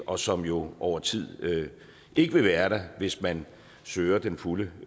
og som jo over tid ikke vil være der hvis man søger den fulde